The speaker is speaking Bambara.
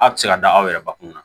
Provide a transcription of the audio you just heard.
Aw tɛ se ka da aw yɛrɛ bakun kunna